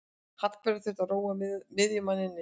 Hallbera þurfti að róa miðjumanninn niður.